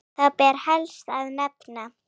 Þá ber helst að nefna